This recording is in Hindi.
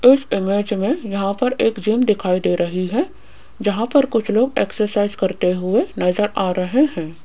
इस इमेज में यहां पर एक जिम दिखाई दे रही है जहां पर कुछ लोग एक्सरसाइज करते हुए नजर आ रहे हैं।